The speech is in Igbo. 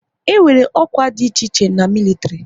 E nwere ọkwá dị iche iche na militiri